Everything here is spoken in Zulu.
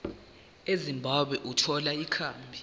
ezimbabwe ukuthola ikhambi